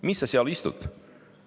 Mis sa seal istud?